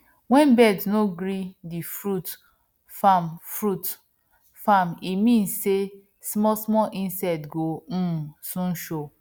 wen birds no gree the fruits farm fruits farm e mean sey small small insect go um soon show